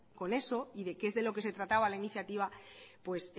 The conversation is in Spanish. con eso y de que es de lo que se trataba la iniciativa pues